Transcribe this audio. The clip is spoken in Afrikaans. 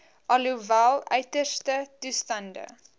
alhoewel uiterste toestande